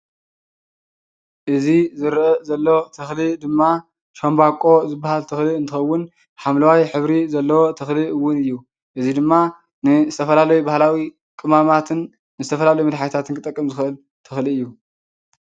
እዚ ዝረአ ዘሎ ተክሊ ድማ ሻንቦቆ ዝተባሃለ ተክሊ እንትከውን ሓምለዋይ ሕብሪ ዘለዎ ተክሊ እውን እዩ፡፡ እዚ ድማ ንዝተፈላለየ ባህላዊ ቅመማትን ንዝተፈላለየ መድሓኒታት ክጠቅም ዝኽእል ተክሊ እዩ፡፡